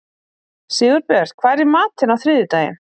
Sigurbjörn, hvað er í matinn á þriðjudaginn?